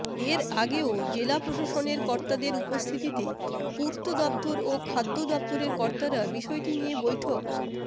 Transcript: এর আগেও জেলা প্রশাসনের কর্তাদের উপস্থিতিতে পূর্ত দফতর ও খাদ্য দফতরের কর্তারা বিষয়টি নিয়ে বৈঠক